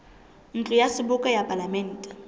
ntlo ya seboka ya palamente